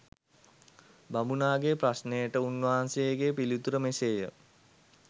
බමුණාගේ ප්‍රශ්නයට උන්වහන්සේගේ පිළිතුර මෙසේය.